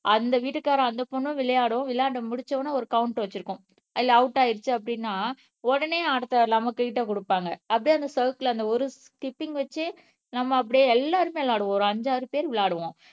அந்த வீட்டுக்காரன் அந்த பொண்ணும் விளையாடும் விளையாண்ட்டு முடிச்ச உடனே ஒரு கவ்ன்ட் வச்சிருக்கும் அதுல அவுட் ஆயிடுச்சு அப்படின்னா உடனே அடுத்த நம்ப கொடுப்பாங்க அப்படியே அந்த சைக்கிள் அந்த ஒரு ஸ்கிப்பிங் வச்சு நம்ம அப்படியே எல்லாருமே விளையாடுவோம் ஒரு அஞ்சு ஆறு பேர் விளையாடுவோம்